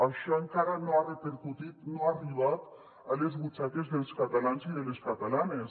això encara no ha repercutit no ha arribat a les butxaques dels catalans i de les catalanes